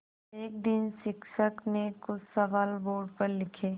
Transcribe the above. एक दिन शिक्षक ने कुछ सवाल बोर्ड पर लिखे